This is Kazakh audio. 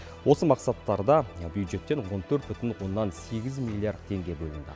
осы мақсаттарда бюджеттен он төрт бүтін оннан сегіз миллиард теңге бөлінді